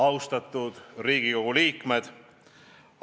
Austatud Riigikogu liikmed!